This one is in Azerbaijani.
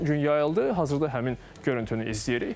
Ötən gün yayıldı, hazırda həmin görüntünü izləyirik.